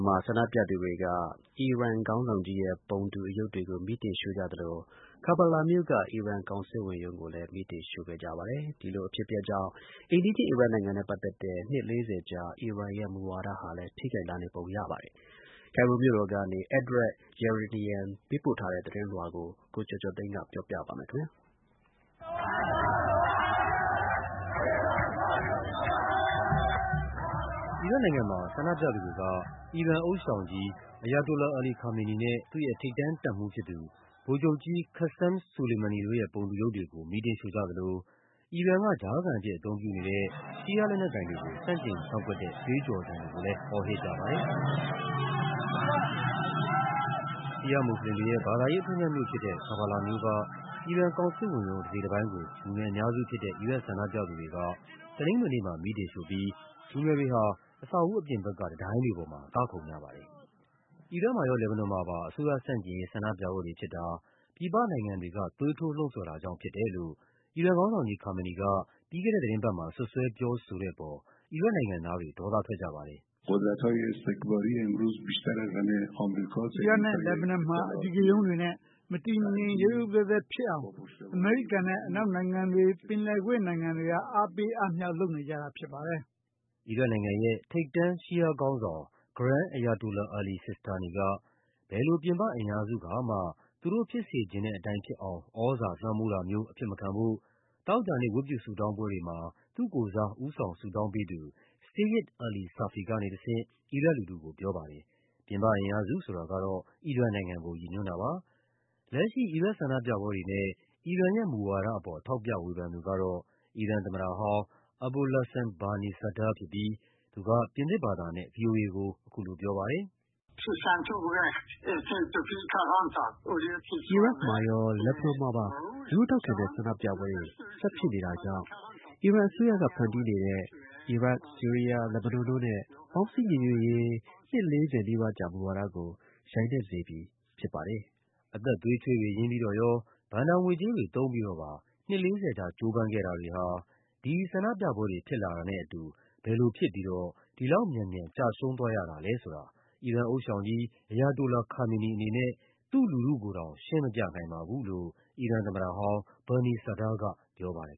မှာ ဆန္ဒပြသူတွေက အီရန်နိုင်ငံဥသျှောင်ရဲ့ ပုံတူအရုပ်တွေကို မီးတင်ရှို့ကြသလို Karbala မြို့က အီရန် ကောင်စစ်ဝန်ရုံးကိုလည်း မီးတင်ရှို့ကြပါတယ်။ ဒီလိုအဖြစ်အပျက်တွေကြောင့် အိမ်နီးချင်း အီရတ်နိုင်ငံနဲ့ ပတ်သက်တဲ့ နှစ် ၄၀ ကြာ အီရန်ရဲ့မူဝါဒဟာလည်း ထိခိုက်လာနေပုံရပါတယ်။ ကိုင်ရိုမြို့တော်ကနေ Edward Yeranian ပေးပို့ထားတဲ့သတင်းလွှာကို ကိုကျော်ကျော်သိန်းက ပြောပြပါမယ်။ အီရတ်နိုင်ငံမှာ ဆန္ဒပြသူတွေက အီရန်နိုင်ငံဥသျှောင် Ayatollah Ali Khamenei နဲ့ သူ့ရဲ့ ထိပ်တန်းတပ်မှူးဖြစ်သူ ဗိုလ်ချုုပ်ကြီး Qassem Suleimani တို့ရဲ့ ပုံတူရုပ်တွေကို မီးတင်ရှို့ကြသလို အီရန်က ကြားခံအဖြစ် အသုံးပြုနေတဲ့ ရှီးယားလက်နက်ကိုင်တွေ ကို ဆန့်ကျင်ကန့်ကွက်တဲ့ ကြွေးကျော်သံတွေကိုလည်း အော်ဟစ်ကြပါတယ်။ ရှီးယားမွတ်ဆလင်တွေရဲ့ ဘာသာရေး အထွဋ်အမြတ်မြို့ဖြစ်တဲ့ Karbala မြို့က အီရန်ကောင်စစ်ဝန်ရုံး တစိတ်တပိုင်းကို လူငယ် အများစုဖြစ်တဲ့ အီရတ်ဆန္ဒပြသူတွေက တနင်္ဂနွေနေ့မှာ မီးတင်ရှို့ပြီး လူငယ်တွေဟာ အဆောက်အဦးအပြင်ဘက်က တံတိုင်းတွေ ပေါ်မှာ ကခုန်ကြပါတယ်။ အီရတ်မှာရော လက်ဘနွန်မှာပါ အစိုးရဆန့်ကျင်ရေး ဆန္ဒပြပွဲတွေဖြစ်တာ ပြည်ပနိုင်ငံတွေက သွေးထိုးလှုံ့ဆော်တာကြောင့် ဖြစ် တယ်လို့ အီရန်နိုင်ငံဥသျှောင် ခါမေနီက ပြီးခဲ့တဲ့သီတင်းပတ်မှာ စွပ်စွဲပြောဆိုတဲ့အပေါ် အီရတ်နိုင်ငံသားတွေ ဒေါသထွက် ကြပါတယ်။ “အီရတ်နဲ့ လက်ဘနွန်မှာ အဓိကရုဏ်းတွေနဲ့ မတည်မငြိမ် ရုတ်ရုတ်သဲသဲဖြစ်အောင် အမေရိကန်နဲ့ အနောက် နိုင်ငံတွေ၊ ပင်လယ်ကွေ့ နိုင်ငံတွေက အားပေးအားမြှောက် လုပ်နေကြတာပါ။” အီရတ်နိုင်ငံရဲ့ ထိပ်တန်း ရှီးယားခေါင်းဆောင် Grand Ayatollah Ali Sistani က ဘယ်လို ပြင်ပအင်အားစုကမှ သူတို့ဖြစ်စေချင် တဲ့အတိုင်းဖြစ်အောင် သြဇာလွှမ်းမိုးတာမျိုး အဖြစ်မခံဖို့ သောကြာနေ့ ဝတ်ပြုဆုတောင်းပွဲတွေမှာ သူ့ကိုယ်စား ဦးဆောင် ဆု တောင်းပေးသူ Seyyid Ali Safi ကနေတဆင့် အီရတ်လူထုကိုပြောပါတယ်။ ပြင်ပအင်အားစု ဆိုတာကတော့ အီရန်နိုင်ငံကို ရည်ညွှန်းတာပါ။ လက်ရှိ အီရတ်ဆန္ဒပြပွဲတွေနဲ့ အီရန်ရဲ့မူဝါဒအပေါ် ထောက်ပြဝေဖန်သူကတော့ အီရန်သမ္မတဟောင်း Abolhassan Bani Sadr ဖြစ်ပြီး သူက ပြင်သစ်ဘာသာနဲ့ ဗွီအိုအေကို အခုလိုပြောပါတယ်။ “အီရတ်မှာရော လက်ဘနွန်မှာပါ လူထုထောက်ခံတဲ့ ဆန္ဒပြပွဲတွေ ဆက်ဖြစ်နေတာကြောင့် အီရန် အစိုးရက ဖန်တီးနေတဲ့ အီရတ်၊ ဆီးရီးယား၊ လက်ဘနွန်တို့နဲ့ ပေါင်းစည်းညီညွတ်ရေး နှစ် ၄၀ နီးပါးကြာ မူဝါဒကို ယိုင်နဲ့စေခဲ့ပြီ ဖြစ်ပါတယ်။” အသက်သွေးချွေးတွေ ရင်းပြီးတော့ရော ဘဏ္ဍာငွေကြေးတွေ သုံးပြီးတော့ပါ နှစ် ၄၀ ကြာ ကြိုးပမ်းခဲ့တာတွေဟာ ဒီဆန္ဒပြပွဲတွေ ဖြစ်လာတာနဲ့အတူ ဘယ်လိုဖြစ်ပြီးတော့ ဒီလောက်မြန်မြန် ကျရှုံးသွားရတာလဲဆိုတာ အီရန်နိုင်ငံဥသျှောင် Ayatollah Khamenei အနေနဲ့ သူ့လူထုကိုတောင် ရှင်းမပြနိုင်ပါဘူးလို့ အီရန်သမ္မတဟောင်း Bani Sadr ကပြောပါတယ်